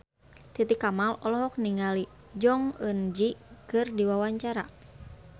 Titi Kamal olohok ningali Jong Eun Ji keur diwawancara